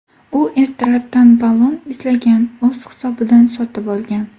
U ertalabdan ballon izlagan, o‘z hisobidan sotib olgan.